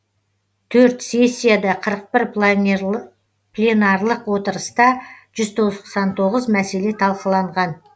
төрт сессияда қырық бір пленарлық отырыста жүз тоқсан тоғыз мәселе талқыланған